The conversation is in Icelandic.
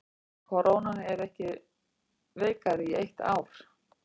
Krónan ekki veikari í eitt ár